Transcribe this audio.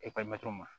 ma